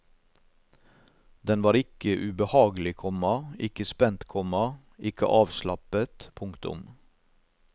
Den var ikke ubehagelig, komma ikke spent, komma ikke avslappet. punktum